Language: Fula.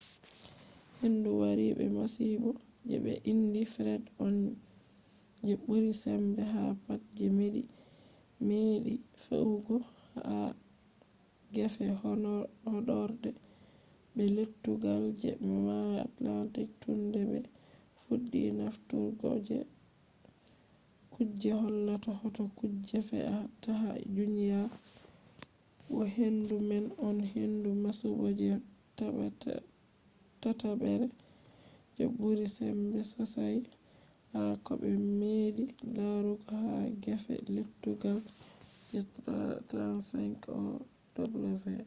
hendu wari be masibo je ɓe indi fred on je ɓuri sembe ha pat je meɗi fe’ugo ha gefe horɗoore be lettugal je mayo atlantik tun de ɓe fuɗɗi nafturgo kuje hollata hoto kujeji fe a ta ha duniya bo hendu man on hendu masibo je tatabre je ɓuri sembe sosai ha koɓe meɗi larugo ha gefe lettugal je 35ow